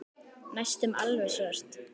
Næstum alveg svört.